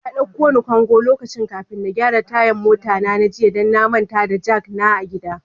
Ya dauka ni gongo lokaci kafin na gyara tayan mota na jiya, dan na manta da jak na a gida.